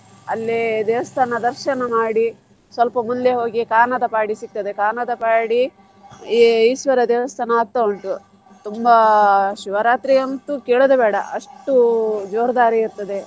ಅಲ್ಲೇ ದೇವಸ್ಥಾನ ದರ್ಶನ ಮಾಡಿ ಸ್ವಲ್ಪ ಮುಂದೆ ಹೋಗಿ Kannarpady ಸಿಗ್ತದೆ, Kannarpady ಈ~ ಈಶ್ವರ ದೇವಸ್ಥಾನ ಆಗ್ತಾ ಉಂಟು ತುಂಬಾ ಶಿವರಾತ್ರಿ ಅಂತೂ ಕೇಳೋದೆ ಬೇಡ ಅಷ್ಟು ಇರ್ತದೆ.